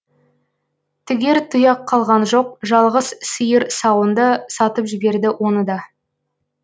тігер тұяқ қалған жоқ жалғыз сиыр сауынды сатып жіберді оны да